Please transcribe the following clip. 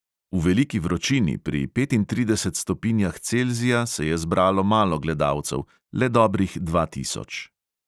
V veliki vročini pri petintridesetih stopinjah celzija se je zbralo malo gledalcev, le dobrih dva tisoč.